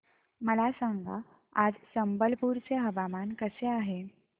मला सांगा आज संबलपुर चे हवामान कसे आहे